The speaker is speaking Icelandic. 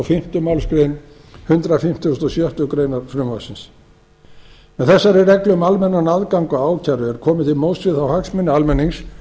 fimmtu málsgrein hundrað fimmtugasta og sjöttu greinar frumvarpsins með þessari reglu um almennan aðgang að ákæru er komið til móts við þá hagsmuni almennings